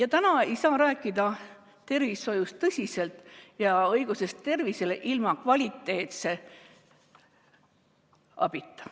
Ei saa tõsiselt rääkida tervishoiust ja õigusest tervisele ilma kvaliteetse abita.